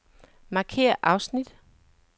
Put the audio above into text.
Markér afsnit.